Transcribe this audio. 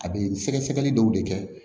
A bɛ sɛgɛsɛgɛli dɔw de kɛ